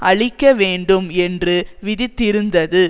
அழிக்க வேண்டும் என்று விதித்திருந்தது